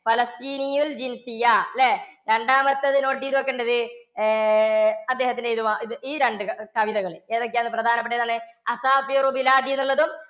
പലസ്തീനയിൽ അല്ലേ? രണ്ടാമത്തേത് note ചെയ്ത് വയ്ക്കേണ്ടത് ഏർ അദ്ദേഹത്തിൻറെ ഇത് ഈ രണ്ട് കവിതകൾ ഏതൊക്കെയാണ് പ്രധാനപ്പെട്ടത് എന്നുള്ളതും